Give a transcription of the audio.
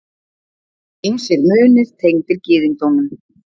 Ýmsir munir tengdir gyðingdómnum.